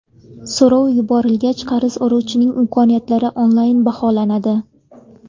So‘rov yuborilgach, qarz oluvchining imkoniyatlari onlayn baholanadi.